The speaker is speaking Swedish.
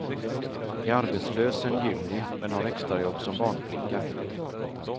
Är arbetslös sedan juni, men har extrajobb som barnflicka.